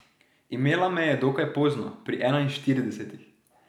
Imela me je dokaj pozno, pri enainštiridesetih.